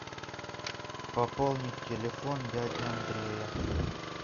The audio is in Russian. пополнить телефон дяди андрея